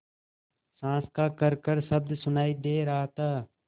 साँस का खरखर शब्द सुनाई दे रहा था